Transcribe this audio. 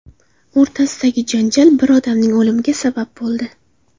o‘rtasidagi janjal bir odamning o‘limiga sabab bo‘ldi.